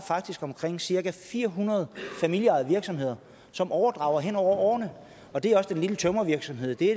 omkring cirka fire hundrede familieejede virksomheder som overdrages hen over årene det er også den lille tømrervirksomhed det